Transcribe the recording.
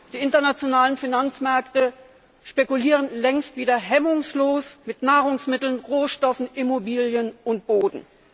Die internationalen Finanzmärkte spekulieren längst wieder hemmungslos mit Nahrungsmitteln, Rohstoffen, Immobilien und Boden.